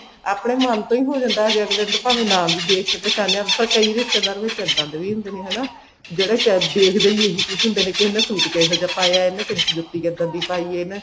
ਆਪਨੇ ਮਨ ਤੋਂ ਹੀ ਹੋ ਜਾਂਦਾ ਹਜੇ ਅੱਗਲੇ ਨੂੰ ਤਾਂ ਭਾਵੇਂ ਨਾ ਵੀ ਦੇਖ ਕੇ ਪਹਿਚਾਣਿਆ ਪਰ ਕਈ ਰਿਸ਼ਤੇਦਾਰ ਵਿੱਚ ਇੱਦਾਂ ਦੇ ਵੀ ਹੁੰਦੇ ਨੇ ਹਨਾ ਕੇ ਜਿਹੜੇ ਦੇਖਦੇ ਹੀ ਇਹੀ ਕੁੱਛ ਹੁੰਦੇ ਨੇ ਹਨਾ ਕਿ ਇਹਨੇ suit ਕਿਹੋ ਜਿਹਾ ਪਾਇਆ ਇਹਨੇ ਜੁੱਤੀ ਕਿੱਦਾਂ ਦੀ ਪਾਈ ਏ ਨਾ